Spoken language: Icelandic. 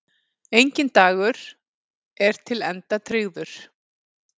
Enginn dagur er til enda tryggður.